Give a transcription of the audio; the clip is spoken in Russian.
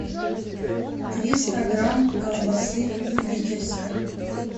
триста грамм колбасы любительской